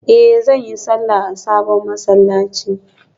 Eh zan yi sallah a sabon masallaci